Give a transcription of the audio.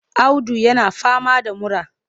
Audu yana fama da mura.